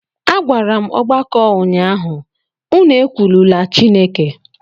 Agwara m ọgbakọ ụnyahụ, unu ekwulula Chineke!